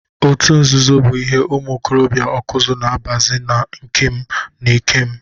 Otu nzuzo bụ ihe ụmụ okorobịa Ọkụzụ na abazi na ikem na ikem.